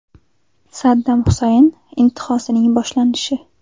Saddam Husayn intihosining boshlanishi.